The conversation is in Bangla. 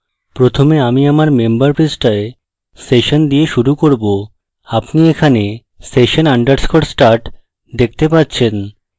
প্রথমে আমি আমার member পৃষ্ঠায় session দিয়ে শুরু করব আপনি এখানে session _ start দেখতে পাচ্ছেন